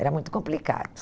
Era muito complicado.